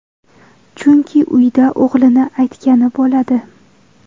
Chunki uyda o‘g‘lini aytgani bo‘ladi.